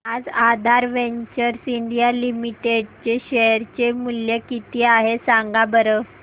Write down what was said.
आज Aadhar ventures India limited चे share चे मूल्य किती आहे सांगा बरं